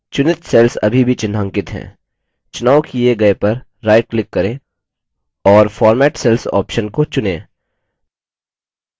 चुनित cells अभी भी चिन्हांकित हैं चुनाव the गए पर right click करें और format cells option को चुनें